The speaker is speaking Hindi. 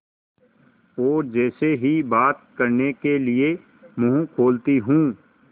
और जैसे ही बात करने के लिए मुँह खोलती हूँ